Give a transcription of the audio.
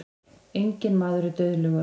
Enginn maður er dauðlegur.